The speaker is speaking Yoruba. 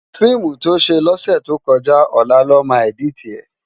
Fiimú tó sé lòsètókòjá òlá lòmá èditi è